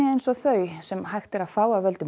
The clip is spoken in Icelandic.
eins og þau sem hægt er að fá af völdum